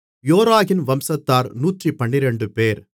யோராகின் வம்சத்தார் 112 பேர்